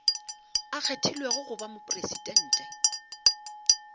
a kgethilwego go ba mopresidente